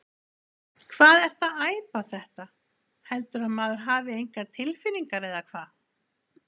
Hvað ertu að æpa þetta. heldurðu að maður hafi engar tilfinningar eða hvað?